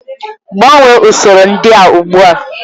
Gbanwee usoro ndị a ugbu a!